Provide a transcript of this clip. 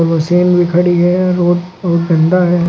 Machine भी खड़ी है और और डंडा है।